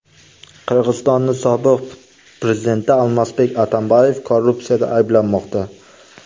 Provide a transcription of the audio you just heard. Qirg‘izistonning sobiq prezidenti Almazbek Atambayev korrupsiyada ayblanmoqda.